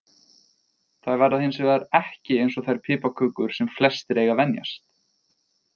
Þær verða hins hins vegar ekki eins og þær piparkökur sem flestir eiga að venjast.